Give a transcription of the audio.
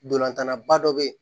Ntolantanna ba dɔ bɛ yen